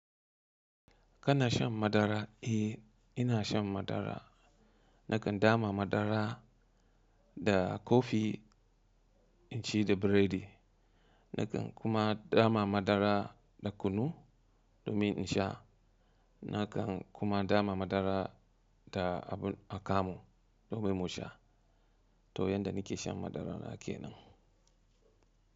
Kana shan madara? Eh, ina shan madara. Nakan dama madara da kofi in ci da biredi. Nakan kuma dama madara da kunu domin in sha. Nakan kuma dama madara da abu akamu domin mu sha. To yanda ni ke shan madara na kenan.